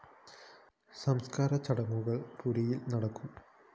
സംസ്‌കാര ചടങ്ങുകള്‍ പുരിയില്‍ നടക്കും